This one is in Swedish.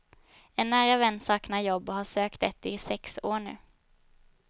En nära vän saknar jobb och har sökt ett i sex år nu.